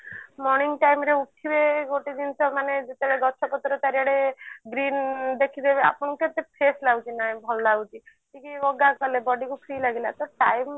morning time ରେ ଉଠିଲେ ଗୋଟେ ଜିନିଷ ମାନେ ଯେତେବେଳେ ଗଛ ପତ୍ର ଚାରିଆଡେ green ଦେଖିବେ ଆପଣ କେତେ fresh ଲାଗୁଛି ନାଇଁ ଭଲ ଲାଗୁଛି ଟିକେ yoga କଲେ ନାଇଁ body କୁ free ଲାଗିଲା ତ time